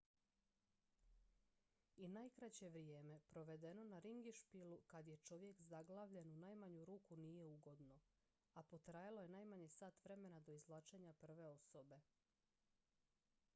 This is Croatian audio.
i najkraće vrijeme provedeno na ringišpilu kad je čovjek zaglavljen u najmanju ruku nije ugodno a potrajalo je najmanje sat vremena do izvlačenja prve osobe